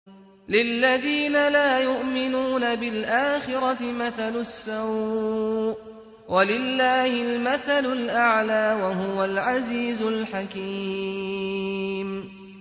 لِلَّذِينَ لَا يُؤْمِنُونَ بِالْآخِرَةِ مَثَلُ السَّوْءِ ۖ وَلِلَّهِ الْمَثَلُ الْأَعْلَىٰ ۚ وَهُوَ الْعَزِيزُ الْحَكِيمُ